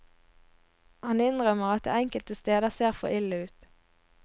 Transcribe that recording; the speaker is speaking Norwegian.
Han innrømmer at det enkelte steder ser for ille ut.